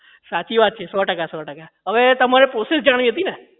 સાચી વાત છે સો ટકા સો ટકા અવે તમારે પ્રોસેસ જાણવી હતી ને